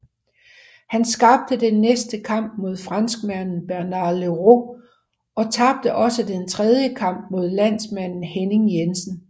Han tabte den næste kamp mod franskmanden Bernard Leroux og tabte også den tredje kamp mod landsmanden Henning Jensen